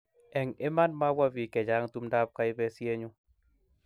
eng' iman mabwa biik che chang' tumdab kaibisienyu